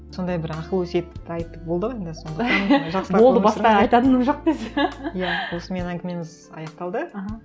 сондай бір ақыл өсиетті айтып болды ау енді болды басқа айтатыным жоқ десе иә осымен әңгімеміз аяқталды аха